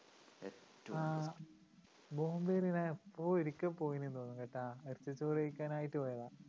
ആ ബോംബേല് ഞാൻ എപ്പോഴോ ഒരിക്കെ പോയിന്നു തോന്നണൂട്ടോ ഇറച്ചിച്ചോറു കഴിക്കാനായിട്ടു പോയതാ